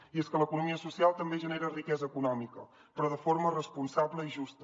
i és que l’economia social també genera riquesa econòmica però de forma responsable i justa